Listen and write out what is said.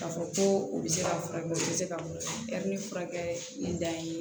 K'a fɔ ko u bɛ se ka furakɛ u bɛ se ka furakɛ da ye